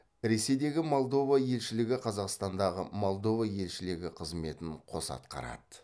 ресейдегі молдова елшілігі қазақстандағы молдова елшілігі қызметін қоса атқарады